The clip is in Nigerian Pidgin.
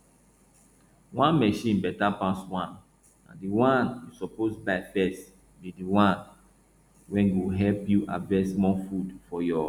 one machine better pass one na the one wey you suppose buy first be the one wey go help you harvest more food for your